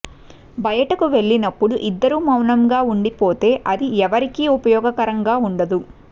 బయటకు వెళ్ళినప్పుడు ఇద్దరు మౌనంగా ఉండిపోతే అది ఎవరికీ ఉపయోగకరంగా ఉండదు